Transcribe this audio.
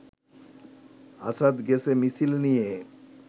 আসাদ গেছে মিছিল নিয়ে